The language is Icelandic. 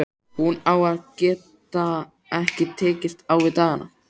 Hún að geta ekki tekist á við dagana.